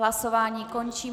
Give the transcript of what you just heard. Hlasování končím.